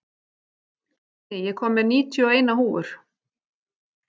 Kristný, ég kom með níutíu og eina húfur!